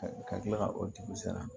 Ka kila ka o dugu sara